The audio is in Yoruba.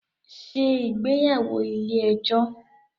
Ṣé ìgbéyàwó ilé ẹjọ́